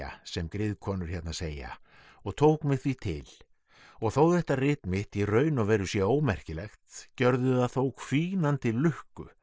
sem griðkonur hérna segja og tók mig því til og þó þetta rit mitt í raun og veru sé ómerkilegt gjörði það þó hvínandi lukku